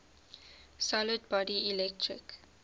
solid body electric